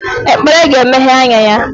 Ekpere ga-emeghe anya ya